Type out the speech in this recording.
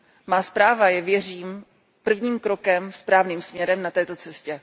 Má zpráva je, věřím, prvním krokem správným směrem na této cestě.